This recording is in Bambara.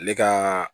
Ale ka